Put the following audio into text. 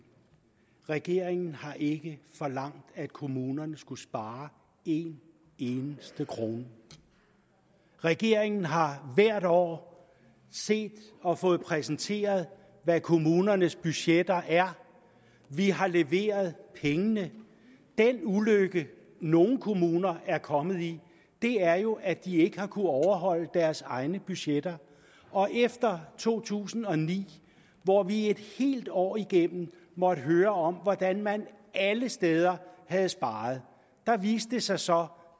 regeringen har ikke forlangt at kommunerne skulle spare en eneste krone regeringen har hvert år set og fået præsenteret hvad kommunernes budgetter er vi har leveret pengene den ulykke nogle kommuner er kommet i er jo at de ikke har kunnet overholde deres egne budgetter efter to tusind og ni hvor vi et helt år igennem måtte høre om hvordan man alle steder havde sparet viste det sig så